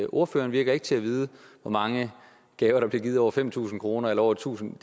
ordføreren virker ikke til at vide hvor mange gaver der bliver givet til over fem tusind kroner eller over tusind